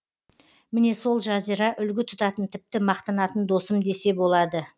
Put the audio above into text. міне сол жазира үлгі тұтатын тіпті мақтанатын досым десе болады